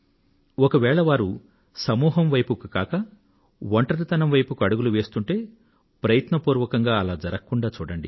ఒకవేళ వారు సమూహం వైపునకు కాక ఒంటరితనం వైపునకు అడుగులు వేస్తూ ఉంటే ప్రయత్నపూర్వకంగా అలా జరగకుండా చూడండి